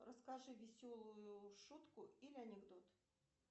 расскажи веселую шутку или анекдот